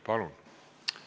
Palun!